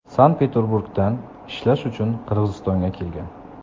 Sankt-Petreburgdan ishlash uchun Qirg‘izistonga kelgan.